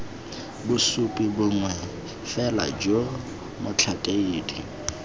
bosupi bongwe fela jo motlhakedi